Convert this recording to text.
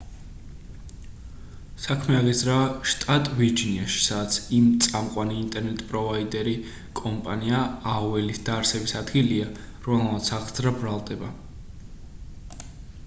საქმე აღიძრა შტატ ვირჯინიაში სადაც იმ წამყვანი ინტერნეტ პროვაიდერი კომპანია aol-ის დაარსების ადგილია რომელმაც აღძრა ბრალდება